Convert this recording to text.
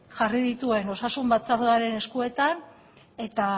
jarri dituen osasun batzordean eskuetan eta